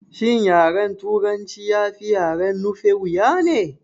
Shin yaren turanci ya fi yaren nufe wuya ne?